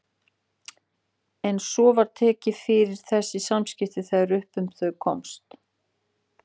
En svo var tekið fyrir þessi samskipti þegar upp um þau komst.